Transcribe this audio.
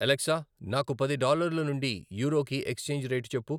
Alexa నాకు పది డాలర్ల నుండి యూరోకి ఎక్స్చేంజి రేటు చెప్పు.